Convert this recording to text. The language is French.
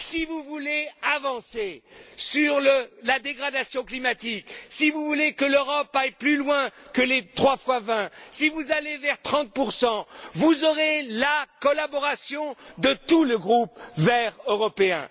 Si vous voulez avancer sur la dégradation climatique, si vous voulez que l'Europe aille plus loin que les trois fois 20, si vous allez vers 30 vous aurez la collaboration de tout le groupe des Verts européens.